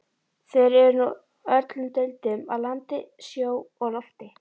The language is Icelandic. Þeir eru úr öllum deildum, af landi, sjó og lofti.